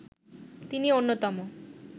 তিনি অন্যতম